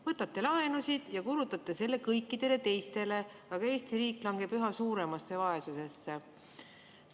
Võtate laenusid ja kulutate selle kõikidele teistele, aga Eesti riik langeb üha suuremasse vaesusesse.